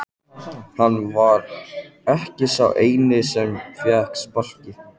Hann var ekki sá eini sem fékk sparkið.